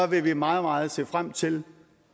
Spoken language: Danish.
vil vi meget meget se frem til